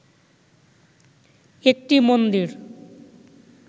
একটি মন্দির